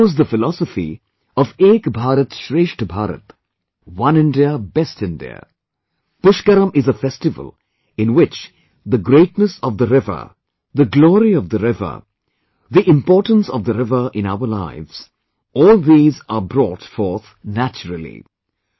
And echoes the philosophy of "Ek BharatShreshTh Bharat" One India Best India...Pushkaram is a festival in which the greatness of the river, the glory of the river, the importance of the river in our lives...all these are brought forth naturally